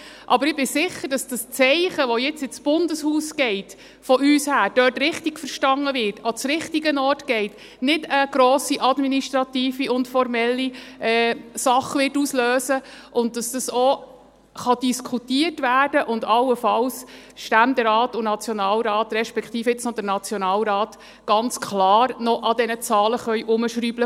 Aber ich bin sicher, dass das Zeichen, das nun von uns her ins Bundeshaus geht, dort richtig verstanden wird, an den richtigen Ort geht und keine grosse administrative und formelle Sache auslösen wird, und dass dies auch diskutiert werden kann und allenfalls der Ständerat und der Nationalrat, respektive jetzt noch der Nationalrat, ganz klar an diesen Zahlen herumschrauben können.